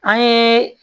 An ye